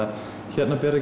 hérna ber